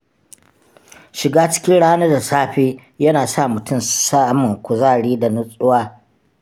Shiga cikin rana da safe yana sa mutum samun kuzari da nutsuwa.